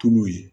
Tulu ye